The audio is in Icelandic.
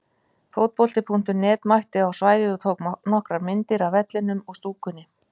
Fótbolti.net mætti á svæðið og tók nokkrar myndir af vellinum og stúkunni.